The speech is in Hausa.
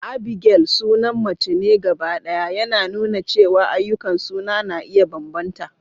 Abigail sunan mace ne gabaɗaya, yana nuna cewa ayyukan suna na iya bambanta.